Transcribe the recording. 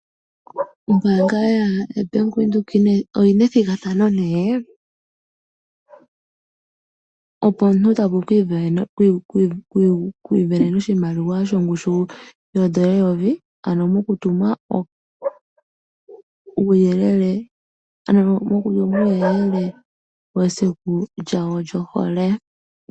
Ombaanga yabank Windhoek oyi na ethigathano nee, opo omuntu tavulu okwiivenena oshimaliwa shongushu yoondola eyovi ano mokutuma uuyelele wesiku lyawo lyohole.